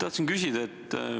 Tahtsin küsida.